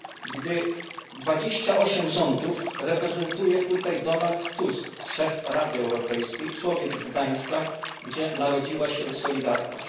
gdy 28 rządów reprezentuje tutaj Donald Tusk, szef Rady Europejskiej, człowiek z Gdańska, gdzie narodziła się Solidarność.